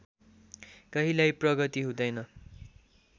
कहिल्यै प्रगति हुँदैन